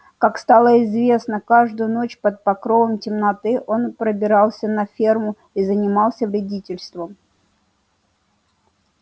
как стало известно каждую ночь под покровом темноты он пробирался на ферму и занимался вредительством